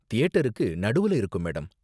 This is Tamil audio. தியேட்டருக்கு நடுவுல இருக்கும், மேடம்.